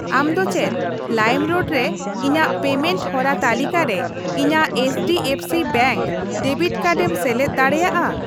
ᱟᱢ ᱫᱚ ᱪᱮᱫ ᱞᱟᱭᱤᱢᱨᱳᱰ ᱨᱮ ᱤᱧᱟ.ᱜ ᱯᱮᱢᱮᱱᱴ ᱦᱚᱨᱟ ᱛᱟᱹᱞᱤᱠᱟ ᱨᱮ ᱤᱧᱟᱹᱜ ᱮᱭᱤᱪᱰᱤᱮᱯᱷᱥᱤ ᱵᱮᱝᱠ ᱰᱮᱵᱤᱴ ᱠᱟᱨᱰ ᱮᱢ ᱥᱮᱞᱮᱫ ᱫᱟᱲᱮᱭᱟᱜᱼᱟ ?